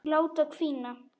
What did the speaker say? Láta hvína.